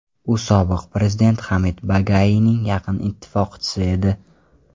U sobiq prezident Hamid Bagaiyning yaqin ittifoqchisi edi.